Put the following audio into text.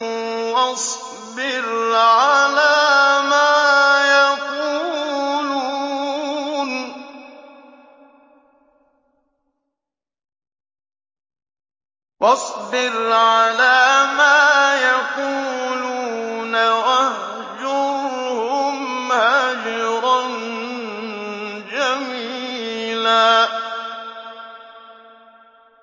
وَاصْبِرْ عَلَىٰ مَا يَقُولُونَ وَاهْجُرْهُمْ هَجْرًا جَمِيلًا